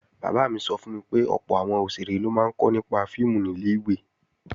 Bàbá mi sọ fún mi pé ọ̀pọ̀ àwọn òṣèré ló máa ń kọ́ nípa fíìmù nílẹ̀ ìwé